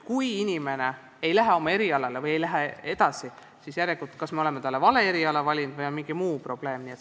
Kui inimene ei lähe oma erialale tööle või ei lähe edasi õppima, siis järelikult me oleme talle kas vale eriala valinud või on mingi muu probleem.